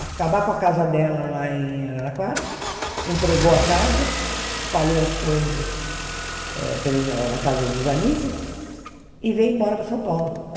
acabar com a casa dela lá em Araraquara, entregou a casa, espalhou as coisas eh pelas na casa dos amigos e veio embora para São Paulo.